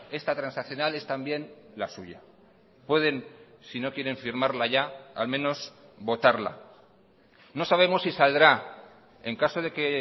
esta transaccional es también la suya pueden si no quieren firmarla ya al menos votarla no sabemos si saldrá en caso de que